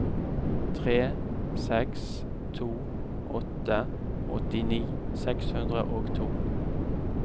tre seks to åtte åttini seks hundre og to